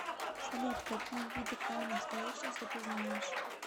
салют какие виды камни бесконечности ты знаешь